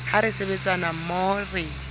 ha re sebetsa mmoho re